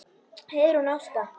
Heiðrún Ásta.